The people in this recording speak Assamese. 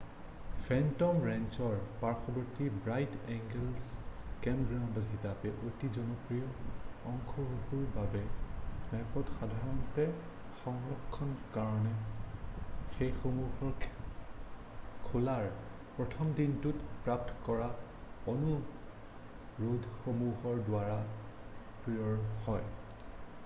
ফেন্টম ৰেঞ্চৰ পাৰ্শ্চৱৰ্তী ব্ৰাইট এঞ্গুল কেম্পগ্ৰাউণ্ড হিচাপে অতি জনপ্ৰিয় অঞ্চলসূহৰ বাবে স্পেচ সাধাৰণতে সংৰক্ষণৰ কাৰণে সেইসমূহৰ খোলাৰ প্ৰথম দিনটোত প্ৰাপ্ত কৰা অনুৰোধসমূহৰ দ্বাৰা পূৰ হয়৷